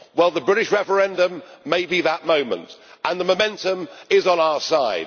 Well, the British referendum may be that moment, and the momentum is on our side.